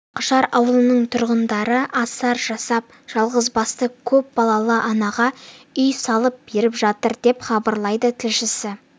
ақжар ауылының тұрғындары асар жасап жалғызбасты көп балалы анаға үй салып беріп жатыр деп хабарлайды тілшісі